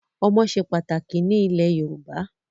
Ọmọ ṣe pàtàkì ní ilẹ̀ Yorùbá.